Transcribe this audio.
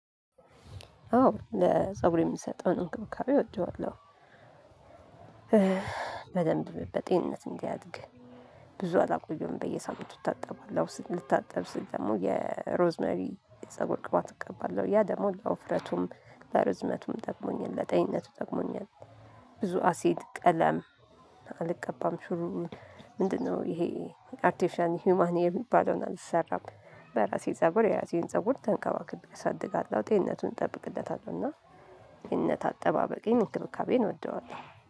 አዎ ለፀጉር የሚሰጠውን እንክብካቤ እወደዋለሁ። በደንብ በጤንነት እንዲያድግ ብዙ አላቆየውም በየሳምንቱ እታጠባለው ልታጠብ ስል ደግሞ የሮዝመሪ የፀጉር ቅባት እቀባለሁ ያ ደግሞ ለወፍረቱም ለርዝመቱም ጠቅሞኛል ለጤኝነቱ ጠቅሞኛል። ብዙ አሲድ ቀለም አልቀባም። ሹሩቡን ምንድነው ይሄ? አርቴፊሻል ሂውማን ሄር የሚባለውን አልሰራም። በራሴ ፀጉር የራሴን ፀጉር ተንከባክቤአሳድጋለሁ ጤነቱን እጠብቅለታለሁ። እና እነት አጠባበቄን እንክብካቤን እወደዋለሁ።